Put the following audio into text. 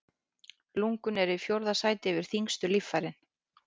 Lungun eru í fjórða sæti yfir þyngstu líffærin.